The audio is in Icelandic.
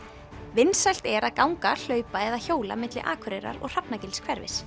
vinsælt er að ganga hlaupa eða hjóla milli Akureyrar og